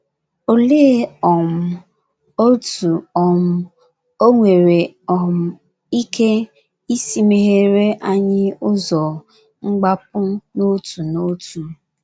Olee um otú um o nwere um ike isi mehere anyị ụzọ mgbapụ n’otu n’otu?